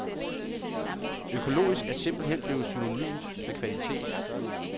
Økologisk er simpelthen blevet synonym med kvalitet.